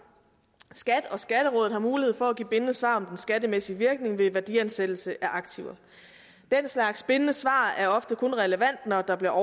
skat og skatterådet har mulighed for at give et bindende svar om den skattemæssige virkning ved værdiansættelse af aktiver den slags bindende svar er ofte kun relevant når der bliver